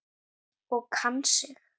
Og kann sig.